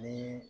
Ni